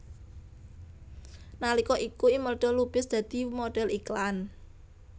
Nalika iku Imelda Lubis dadi modhel iklan